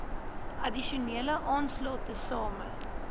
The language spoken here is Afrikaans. addisionele aanslae tesame